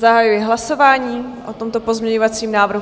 Zahajuji hlasování o tomto pozměňovacím návrhu.